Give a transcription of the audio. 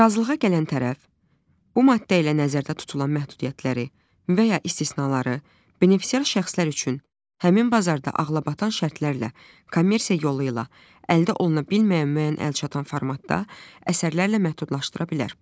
Razılığa gələn tərəf, bu maddə ilə nəzərdə tutulan məhdudiyyətləri və ya istisnaları, benefisiar şəxslər üçün həmin bazarda ağlabatan şərtlərlə kommersiya yolu ilə əldə oluna bilməyən müəyyən əlçatan formatda əsərlərlə məhdudlaşdıra bilər.